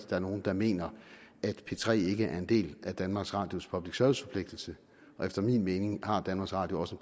er nogen der mener at p tre ikke er en del af danmarks radios public service forpligtelse og efter min mening har danmarks radio også